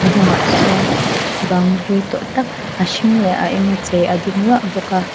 hnungah sawn bang hlui tawh tak a hring leh a enga chei a ding luah bawk a--